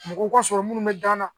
Mɔgɔw ka sɔrɔ minnu bɛ da n na